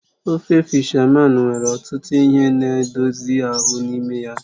Ofe fishamán nwere ọtụtụ ihe na edozie ahụ n'ime ya.